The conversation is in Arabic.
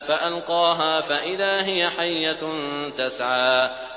فَأَلْقَاهَا فَإِذَا هِيَ حَيَّةٌ تَسْعَىٰ